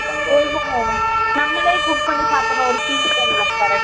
ஓஓ. நம்மளை குக் பண்ணி சாப்பிடற ஒரு பீல் இருக்கும் இல்ல. correct .